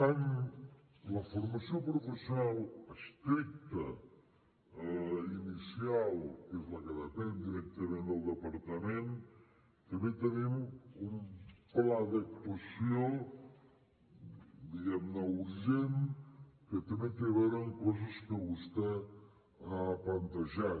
en la formació professional estricta inicial que és la que depèn directament del departament també tenim un pla d’actuació diguem ne urgent que també té a veure amb coses que vostè ha plantejat